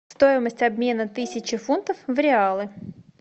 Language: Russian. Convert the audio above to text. стоимость обмена тысячи фунтов в реалы